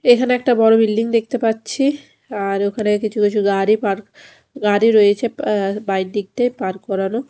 এখানে একটা বড়ো বিল্ডিং দেখতে পাচ্ছি আর ওখানে কিছু কিছু গাড়ি পার্ক গাড়ি রয়েছে বাই দিকথে পার্ক করানো ।